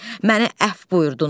Mənə əfv buyurdunuz.